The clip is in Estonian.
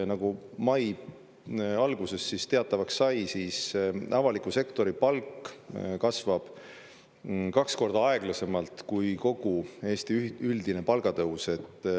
Nagu mai alguses teatavaks sai, siis avaliku sektori palk kasvab kaks korda aeglasemalt kui kogu Eesti üldine palgatõus.